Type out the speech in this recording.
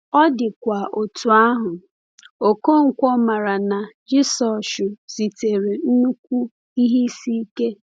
Ọ dịkwa otú ahụ, Okonkwo maara na Jisọshụ zutere nnukwu ihe isi ike.